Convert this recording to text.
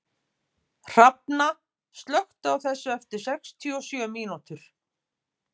Hrafna, slökktu á þessu eftir sextíu og sjö mínútur.